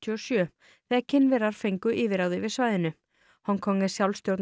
og sjö þegar Kínverjar fengu yfirráð yfir svæðinu Hong Kong er